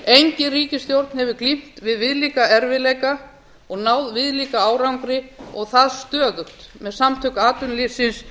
engin ríkisstjórn hefur glímt við viðlíka erfiðleika og náð viðlíka árangri og það stöðugt með samtök atvinnulífsins